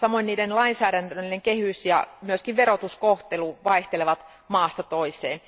Samoin niiden lainsäädännöllinen kehys ja myöskin verotuskohtelu vaihtelevat maasta toiseen.